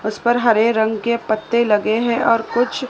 उस पर हरे रंग के पत्ते लगे हैं और कुछ--